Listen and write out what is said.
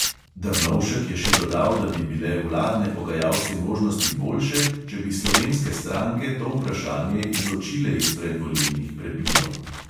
Drnovšek je še dodal, da bi bile vladne pogajalske možnosti boljše, če bi slovenske stranke to vprašanje izločile iz predvolilnih prepirov.